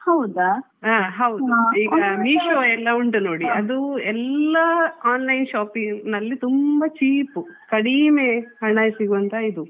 ಹಾ ಹೌದು ಈಗಾ Meesho ಎಲ್ಲ ಉಂಟು ನೋಡಿ.